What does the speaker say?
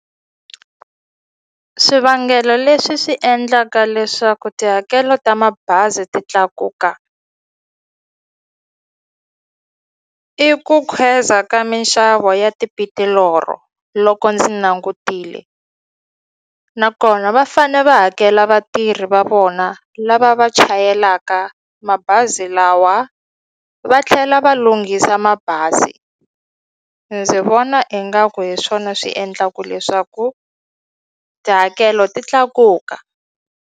Swivangelo leswi swi endlaka leswaku tihakelo ta mabazi ti tlakuka i ku khweza ka minxavo ya loko ndzi langutile nakona va fane va hakela vatirhi va vona lava va chayelaka mabazi lawa va tlhela va lunghisa mabazi ndzi vona ingaku hi swona swi endlaku leswaku tihakelo ti tlakuka.